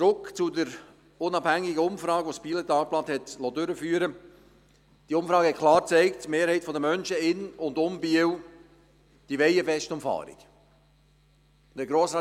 Zurück zur unabhängigen Umfrage, welche das «Bieler Tagblatt» durchführen liess: Diese Umfrage hat klar gezeigt, dass die Mehrheit der Menschen in und um Biel eine Westumfahrung will.